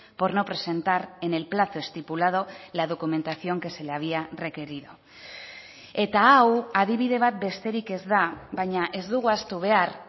por no presentar en el plazo estipulado la documentación que se le había requerido eta hau adibide bat besterik ez da baina ez dugu ahaztu behar